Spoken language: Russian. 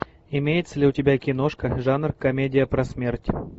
имеется ли у тебя киношка жанр комедия про смерть